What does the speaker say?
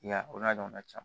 I y'a o n'a ɲɔgɔnna caman